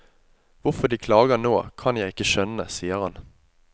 Hvorfor de klager nå, kan jeg ikke skjønne, sier han.